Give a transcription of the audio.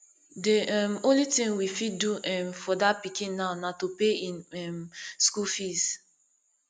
the um only thing we fit do um for dat pikin now na to pay im um school fees